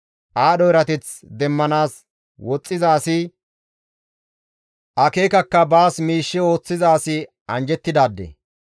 Aadho erateth demmanaas woxxiza asi, akeekakka baas miishshe ooththiza asi anjjettidaade.